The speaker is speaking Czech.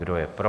Kdo je pro?